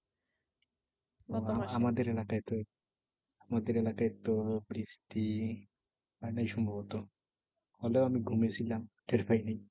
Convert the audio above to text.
আমাদের এলাকায় তো আমাদের এলাকায় তো বৃষ্টি হয় নাই সম্ভবত। হলেও আমি ঘুমাই ছিলাম টের পাইনি।